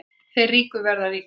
Þeir ríku verða ríkari